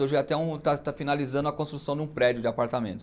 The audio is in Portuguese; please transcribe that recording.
Hoje até um, está está finalizando a construção de um prédio de apartamento.